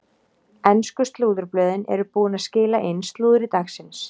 Ensku slúðurblöðin eru búin að skila inn slúðri dagsins.